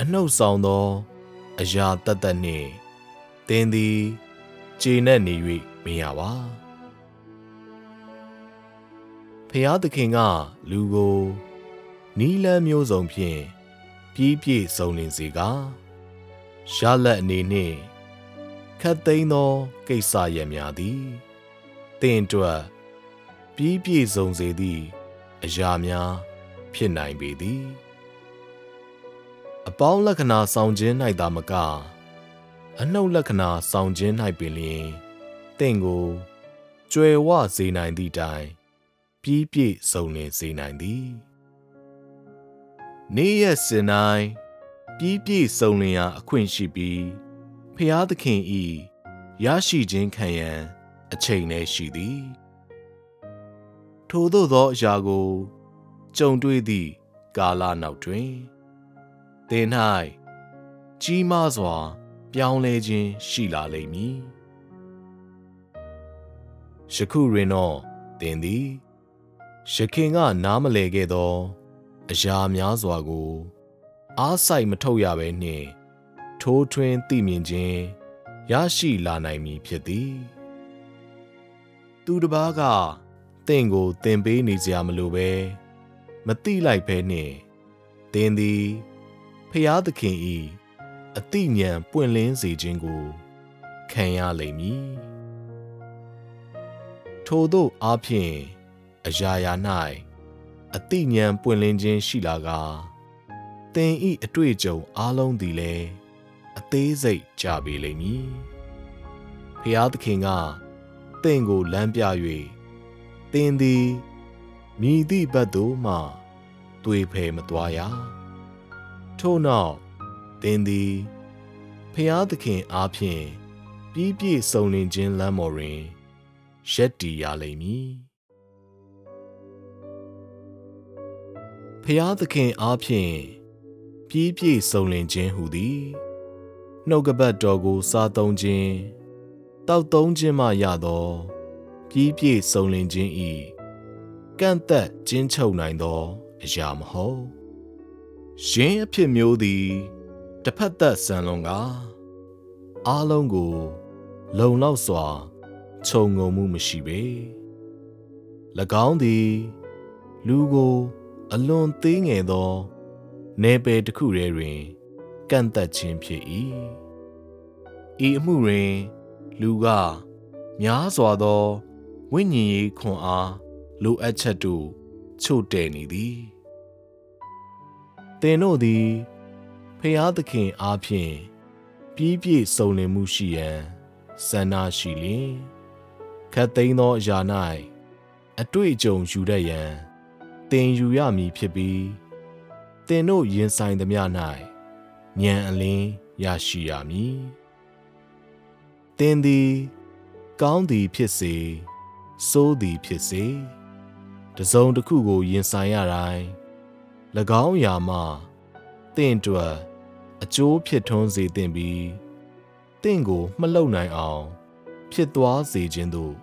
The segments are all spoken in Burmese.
အနုတ်ဆောင်သော အရာသက်သက်နှင့် သင်သည် ကျေနပ်နေ၍ မရပါ။ ဘုရားသခင်က လူကို နည်းလမ်းမျိုးစုံဖြင့် ပြီးပြည့်စုံလင်စေကာ၊ ရလဒ်အနေနှင့် ခပ်သိမ်းသော ကိစ္စရပ်များသည် သင့်အတွက် ပြီးပြည့်စုံစေသည့် အရာများ ဖြစ်နိုင်ပေသည်။ အပေါင်းလက္ခဏာ ဆောင်ခြင်း၌သာမက၊ အနုတ်လက္ခဏာ ဆောင်ခြင်း၌ပင်လျှင် သင့်ကို ကြွယ်ဝစေနိုင်သည့်တိုင် ပြီးပြည့်စုံလင်စေနိုင်သည်။ နေ့ရက်စဉ်တိုင်း ပြီးပြည့်စုံလင်ရာ အခွင့်ရှိပြီး၊ ဘုရားသခင်၏ ရရှိခြင်းခံရန် အချိန်လည်းရှိသည်။ ထိုသို့သောအရာကို ကြုံတွေ့သည့် ကာလနောက်တွင် သင်၌ ကြီးမားစွာ ပြောင်းလဲခြင်း ရှိလာလိမ့်မည်။ ယခုတွင်တော့ သင်သည် ယခင်က နားမလည်ခဲ့သော အရာများစွာကို အားစိုက်မထုတ်ရဘဲနှင့် ထိုးထွင်းသိမြင်ခြင်း ရရှိလာနိုင်မည် ဖြစ်သည်၊ သူတစ်ပါးက သင့်ကို သင်ပေးနေစရာမလိုဘဲ၊ မသိလိုက်ဘဲနှင့်၊ သင်သည် ဘုရားသခင်၏ အသိဉာဏ် ပွင့်လင်းစေခြင်းကို ခံရလိမ့်မည်၊ ထိုသို့အားဖြင့် အရာရာ၌ အသိဉာဏ် ပွင့်လင်းခြင်း ရှိလာကာ၊ သင်၏ အတွေ့အကြုံ အားလုံးသည်လည်း အသေးစိတ်ကျပေလိမ့်မည်။ ဘုရားသခင်က သင့်ကိုလမ်းပြ၍ သင်သည် မည်သည့်ဘက်သို့မှ သွေဖည်မသွားရ။ ထို့နောက် သင်သည် ဘုရားသခင်အားဖြင့် ပြီးပြည့်စုံလင်ခြင်း လမ်းပေါ်တွင် ရပ်တည်ရလိမ့်မည်။ ဘုရားသခင်အားဖြင့် ပြီးပြည့်စုံလင်ခြင်းဟူသည် နှုတ်ကပတ်တော်ကို စားသုံးခြင်း၊ သောက်သုံးခြင်းမှရသော ပြီးပြည့်စုံလင်ခြင်း၏ ကန့်သတ်ကျဉ်းချုပ်နိုင်သော အရာမဟုတ်။ ယင်းအဖြစ်မျိုးသည် တစ်ဖက်သတ် ဆန်လွန်းကာ၊ အားလုံးကို လုံလောက်စွာ ခြုံငုံမှုမရှိပေ၊ ၎င်းသည် လူကို အလွန်သေးငယ်သော နယ်ပယ်တစ်ခုထဲတွင် ကန့်သတ်ခြင်းဖြစ်၏။ ဤအမှုတွင် လူက များစွာသော ဝိညာဉ်ရေးခွန်အား လိုအပ်ချက်တို့ ချို့တဲ့နေသည်။ သင်တို့သည် ဘုရားသခင်အားဖြင့် ပြီးပြည့်စုံလင်မှုရှိရန် ဆန္ဒရှိလျှင် ခပ်သိမ်းသောအရာ၌ အတွေ့အကြုံ ယူတတ်ရန် သင်ယူရမည်ဖြစ်ပြီး၊ သင်တို့ ရင်ဆိုင်သမျှ၌ ဉာဏ်အလင်း ရရှိရမည်။ သင်သည် ကောင်းသည် ဖြစ်စေ၊ ဆိုးသည်ဖြစ်စေ၊ တစ်စုံတစ်ခုကို ရင်ဆိုင်ရတိုင်း၊ ၎င်းအရာမှ သင့်အတွက် အကျိုးဖြစ်ထွန်း စေသင့်ပြီး၊ သင့်ကိုမလှုပ်နိုင်အောင် ဖြစ်သွားစေခြင်းသို့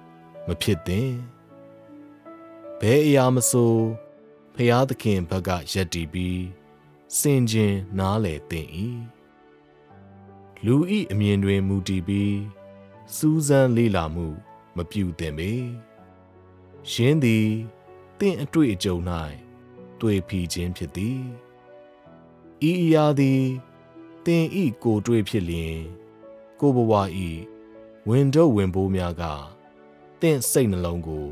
မဖြစ်သင့်။ ဘယ်အရာမဆို ဘုရားသခင်ဖက်က ရပ်တည်ပြီး ဆင်ခြင်နားလည်သင့်၏။ လူ၏အမြင်တွင် မူတည်ပြီး စူးစမ်းလေ့လာမှု မပြုသင့်ပေ (ယင်းသည် သင့်အတွေ့အကြုံ၌ သွေဖီခြင်း ဖြစ်သည်)။ ဤအရာသည် သင်၏ကိုယ်တွေ့ ဖြစ်လျှင် ကိုယ့်ဘဝ၏ ဝန်ထုပ်ဝန်ပိုးများက သင့်စိတ်နှလုံးကို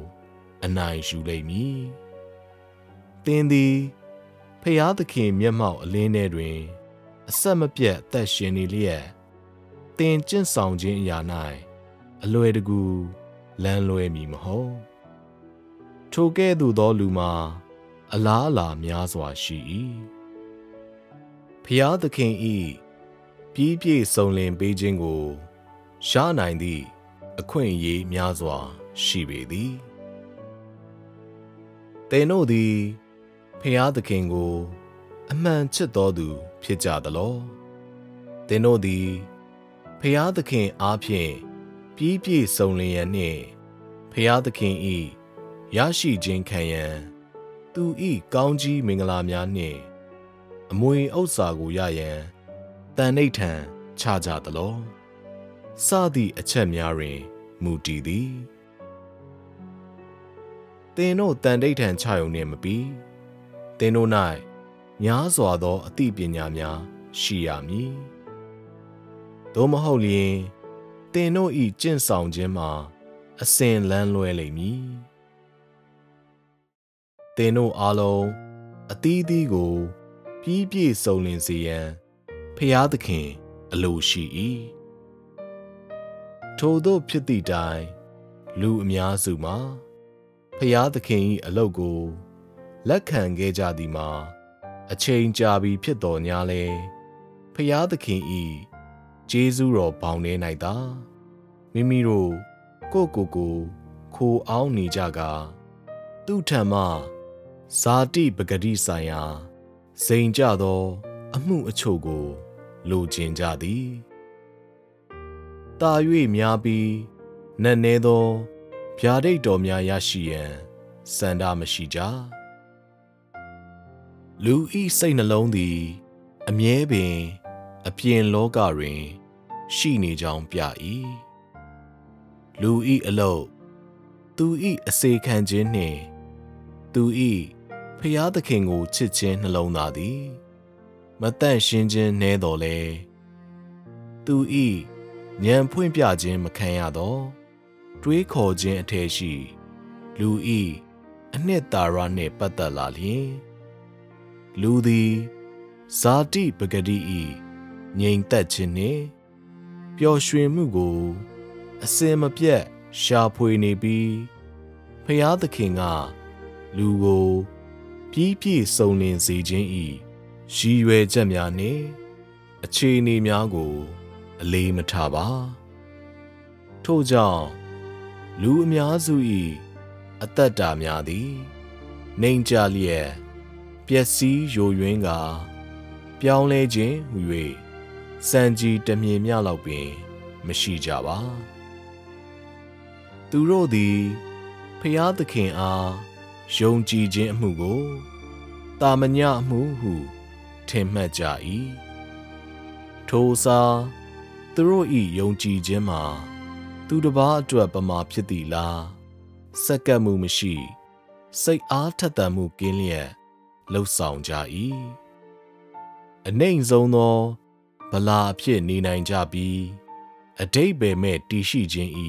အနိုင်ယူလိမ့်မည်။ သင်သည် ဘုရားသခင် မျက်မှောက် အလင်းထဲတွင် အဆက်မပြတ် အသက်ရှင်နေလျက်၊ သင်ကျင့်ဆောင်ခြင်းအရာ၌ အလွယ်တကူ လမ်းလွဲမည်မဟုတ်။ ထိုကဲ့သို့သောလူမှာ အလားအလာများစွာရှိ၏။ ဘုရားသခင်၏ ပြီးပြည့်စုံလင်ပေးခြင်းကို ရနိုင်သည့် အခွင့်အရေးများစွာ ရှိပေသည်။ သင်တို့သည် ဘုရားသခင်ကို အမှန်ချစ်သောသူ ဖြစ်ကြသလော၊ သင်တို့သည် ဘုရားသခင်အားဖြင့် ပြီးပြည့်စုံလင်ရန်နှင့် ဘုရားသခင်၏ ရရှိခြင်းခံရန်၊ သူ၏ ကောင်းချီးမင်္ဂလာများနှင့် အမွေဥစ္စာကိုရရန် သန္နိဌာန်ချကြသလော၊ စသည့်အချက်များတွင် မူတည်သည်။ သင်တို့ သန္နိဌာန်ချရုံနှင့်မပြီး။ သင်တို့၌ များစွာသော အသိပညာများ ရှိရမည်။ သို့မဟုတ်လျှင် သင်တို့၏ ကျင့်ဆောင်ခြင်းမှာ အစဉ်လမ်းလွဲလိမ့်မည်။ သင်တို့အားလုံး အသီးသီးကို ပြီးပြည့်စုံလင်စေရန် ဘုရားသခင် အလိုရှိ၏။ ထိုသို့ဖြစ်သည့်တိုင်၊ လူအများစုမှာ ဘုရားသခင်၏ အလုပ်ကို လက်ခံခဲ့ကြသည်မှာ အချိန်ကြာပြီ ဖြစ်သော်ငြားလည်း၊ ဘုရားသခင်၏ ကျေးဇူးတော်ဘောင်ထဲ၌သာ မိမိတို့ ကိုယ့်ကိုယ်ကိုယ် ခိုအောင်းနေကြကာ၊ သူ့ထံမှ ဇာတိပကတိဆိုင်ရာ ဇိမ်ကျသော အမှုအချို့ကို လိုချင်ကြသည်။ သာ၍များပြီး နက်နဲသော ဗျာဒိတ်တော်များ ရရှိရန် ဆန္ဒမရှိကြ၊ လူ၏စိတ်နှလုံးသည် အမြဲပင် အပြင်လောကတွင် ရှိနေကြောင်းပြ၏။ လူ၏အလုပ်၊ သူ၏အစေခံခြင်းနှင့် သူ၏ဘုရားသခင်ကိုချစ်ခြင်း နှလုံးသားသည် မသန့်ရှင်းခြင်း နည်းသော်လည်း၊ သူ၏ ဉာဏ်ဖွင့်ပြခြင်း မခံရသော တွေးခေါ်ခြင်းအထဲရှိ လူ၏ အနှစ်သာရနှင့် ပတ်သက်လာလျှင်၊ လူသည် ဇာတိပကတိ၏ ငြိမ်သက်ခြင်းနှင့် ပျော်ရွှင်မှုကို အစဉ်မပြတ် ရှာဖွေနေပြီး၊ ဘုရားသခင်က လူကို ပြီးပြည့်စုံလင်စေခြင်း၏ ရည်ရွယ်ချက်များနှင့် အခြေအနေများကို အလေးမထားပါ။ ထို့ကြောင့် လူအများစု၏ အသက်တာများသည် နိမ့်ကျလျက် ပျက်စီးယိုယွင်းကာ၊ ပြောင်းလဲခြင်းဟူ၍ ဆံခြည်တစ်မျှင်မျှလောက်ပင် မရှိကြပါ။ သူတို့သည် ဘုရားသခင်အား ယုံကြည်ခြင်းအမှုကို သာမညအမှုဟု ထင်မှတ်ကြ၏။ ထိုအစား၊ သူတို့၏ ယုံကြည်ခြင်းမှာ သူတပါးအတွက်ပမာ ဖြစ်သည့်အလား၊ ဆက်ကပ်မှုမရှိ၊ စိတ်အားထက်သန်မှုကင်းလျက် လုပ်ဆောင်ကြ၏။ အနိမ့်ဆုံးသော ဗလာအဖြစ်နေနိုင်ကြပြီး အဓိပ္ပာယ်မဲ့ တည်ရှိခြင်း၏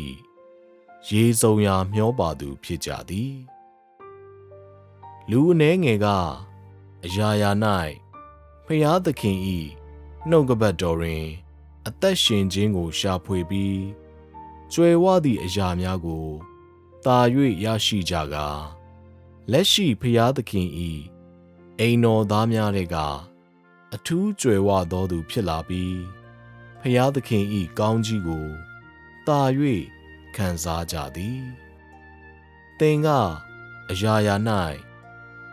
ရေစုန်ရာမျောပါသူ ဖြစ်ကြသည်။ လူအနည်းငယ်က အရာရာ၌ ဘုရားသခင်၏ နှုတ်ကပတ်တော်တွင် အသက်ရှင်ခြင်းကို ရှာဖွေပြီး၊ ကြွယ်ဝသည့် အရာများကို သာ၍ရရှိကြကာ၊ လက်ရှိဘုရားသခင်၏ အိမ်တော်သားများထဲက အထူးကြွယ်ဝသောသူ ဖြစ်လာပြီး၊ ဘုရားသခင်၏ ကောင်းချီးကို သာ၍ ခံစားကြသည်။ သင်က အရာရာ၌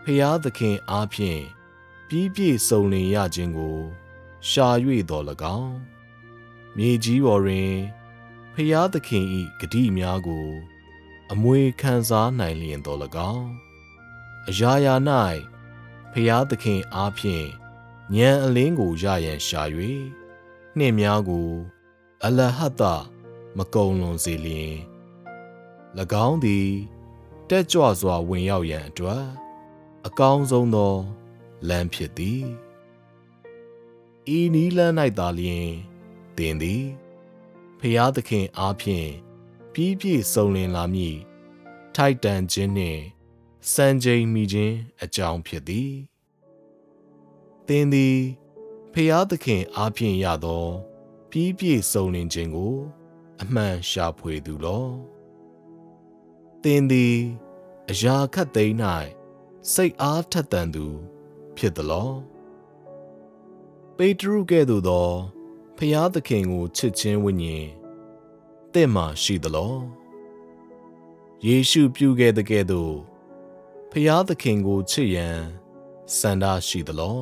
ဘုရားသခင်အားဖြင့် ပြီးပြည့်စုံလင်ရခြင်းကို ရှာ၍သော်လည်းကောင်း၊ မြေကြီးပေါ်တွင် ဘုရားသခင်၏ ကတိများကို အမွေခံစားနိုင်လျှင်သော်လည်းကောင်း၊ အရာရာ၌ ဘုရားသခင်အားဖြင့် ဉာဏ်အလင်းကို ရရန်ရှာ၍၊ နှစ်များကို အလဟဿ မကုန်လွန်စေလျှင်၊ ၎င်းသည် တက်ကြွစွာ ဝင်ရောက်ရန်အတွက် အကောင်းဆုံးသော လမ်းဖြစ်သည်။ ဤနည်းလမ်း၌သာလျှင် သင်သည် ဘုရားသခင်အားဖြင့် ပြီးပြည့်စုံလင်လာမည့် ထိုက်တန်ခြင်းနှင့် စံချိန်မီခြင်း အကြောင်းဖြစ်သည်။ သင်သည် ဘုရားသခင်အားဖြင့် ရသော ပြီးပြည့်စုံလင်ခြင်းကို အမှန်ရှာဖွေသူလော။ သင်သည် အရာခပ်သိမ်း၌ စိတ်အားထက်သန်သူ ဖြစ်သလော။ ပေတရုကဲ့သို့သော ဘုရားသခင်ကိုချစ်ခြင်းဝိညာဉ် သင့်မှာ ရှိသလော။ ယေရှုပြုခဲ့သကဲ့သို့ ဘုရားသခင်ကို ချစ်ရန် ဆန္ဒရှိသလော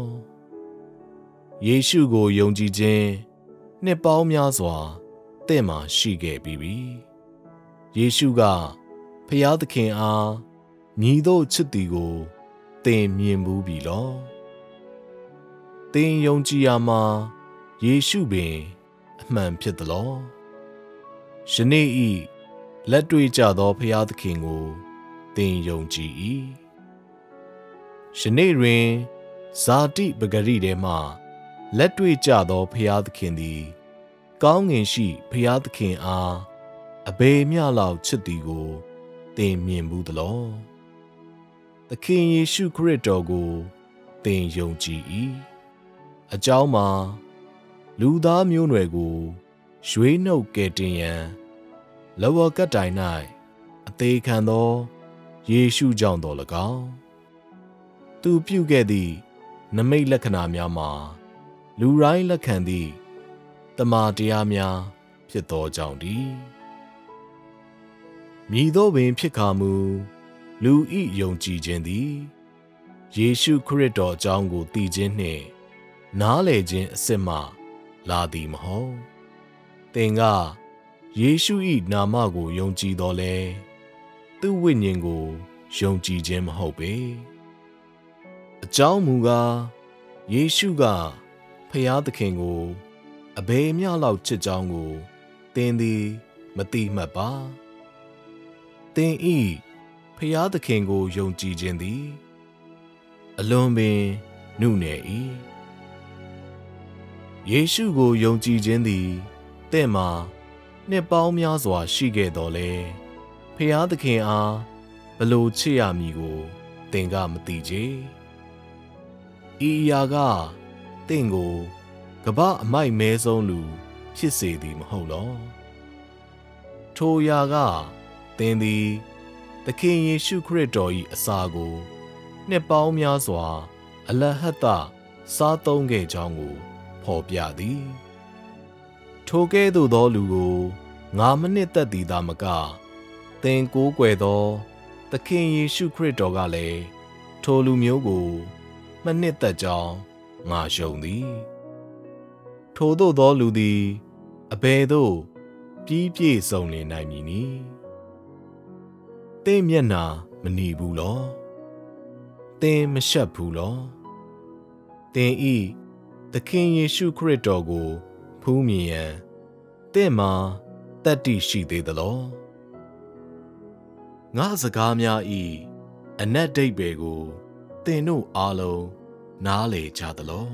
။ ယေရှုကို ယုံကြည်ခြင်း နှစ်ပေါင်းများစွာ သင့်မှာရှိခဲ့ပြီးပြီ၊ ယေရှုက ဘုရားသခင်အား မည်သို့ချစ်သည်ကို သင်မြင်ဖူးပြီလော။ သင်ယုံကြည်ရာမှာ ယေရှုပင် အမှန်ဖြစ်သလော။ ယနေ့၏ လက်တွေ့ကျသော ဘုရားသခင်ကို သင်ယုံကြည်၏။ ယနေ့တွင် ဇာတိပကတိထဲမှ လက်တွေ့ကျသော ဘုရားသခင်သည် ကောင်းကင်ရှိ ဘုရားသခင်အား အဘယ်မျှလောက် ချစ်သည်ကို သင်မြင်ဖူးသလော။ သခင်ယေရှုခရစ်တော်ကို သင်ယုံကြည်၏။ အကြောင်းမှာ လူသားမျိုးနွယ်ကို ရွေးနုတ်ကယ်တင်ရန် လက်ဝါးကပ်တိုင်၌ အသေခံသော ယေရှုကြောင့်သော်လည်းကောင်း၊ သူပြုခဲ့သည့် နိမိတ်လက္ခဏာများမှာ လူတိုင်း လက်ခံသည့် သမ္မာတရားများ ဖြစ်သောကြောင့်တည်း။ မည်သို့ပင်ဖြစ်ကာမူ၊ လူ၏ယုံကြည်ခြင်းသည် ယေရှုခရစ်တော်အကြောင်းကို သိခြင်းနှင့် နားလည်ခြင်းအစစ်မှ လာသည်မဟုတ်။ သင်က ယေရှု၏နာမကို ယုံကြည်သော်လည်း သူ့ဝိညာဉ်ကို ယုံကြည်ခြင်း မဟုတ်ပေ။ အကြောင်းမူကား၊ ယေရှုက ဘုရားသခင်ကို အဘယ်မျှလောက် ချစ်ကြောင်းကို သင်သည် မသိမှတ်ပါ။ သင်၏ ဘုရားသခင်ကို ယုံကြည်ခြင်းသည် အလွန်ပင် နုနယ်၏။ ယေရှုကို ယုံကြည်ခြင်းသည် သင့်မှာ နှစ်ပေါင်းများစွာ ရှိခဲ့သော်လည်း ဘုရားသခင်အား ဘယ်လို ချစ်ရမည်ကို သင်ကမသိချေ။ ဤအရာက သင့်ကို ကမ္ဘာ့အမိုက်မဲဆုံးလူ ဖြစ်စေသည် မဟုတ်လော။ ထိုအရာက သင်သည် သခင်ယေရှုခရစ်တော်၏ အစာကို နှစ်ပေါင်းများစွာ အလဟဿ စားသုံးခဲ့ကြောင်းကို ဖော်ပြသည်။ ထိုကဲ့သို့သောလူကို ငါမနှစ်သက်သည်သာမက၊ သင်ကိုးကွယ်သော သခင်ယေရှု ခရစ်တော်ကလည်း ထိုလူမျိုးကို မနှစ်သက်ကြောင်း ငါယုံသည်။ ထိုသို့သောလူသည် အဘယ်သို့ ပြီးပြည့်စုံလင် နိုင်မည်နည်း။ သင့်မျက်နှာ မနီဘူးလော။ သင်မရှက်ဘူးလော။ သင်၏ သခင်ယေရှုခရစ်တော်ကို ဖူးမြင်ရန် သင့်မှာ သတ္တိရှိသေးသလော။ ငါ့စကားများ၏ အနက်ဓိပ္ပာယ်ကို သင်တို့အားလုံး နားလည်ကြသလော။